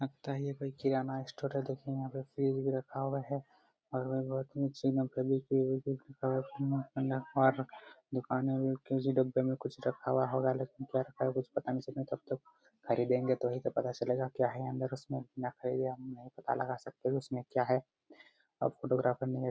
लगता हे ये कोई किराना स्टोर है देखिए यहां पर फ्रिज भी रखा हुआ है और नीचे भी फेविकविक भी और डब्बे में कुछ रखा हुआ है कुछ पता नही चल रहा है तब तक खरीदेंगे तो ही तो पता चलेगा क्या है उसमे बिना खरीदे नही पता लगा सकते क्या रखा हुआ है उसमे क्या है और फोटोग्राफर नही है।